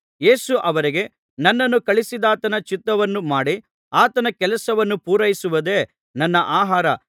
ಯೇಸು ಅವರಿಗೆ ನನ್ನನ್ನು ಕಳುಹಿಸಿದಾತನ ಚಿತ್ತವನ್ನು ಮಾಡಿ ಆತನ ಕೆಲಸವನ್ನು ಪೂರೈಸುವುದೇ ನನ್ನ ಆಹಾರ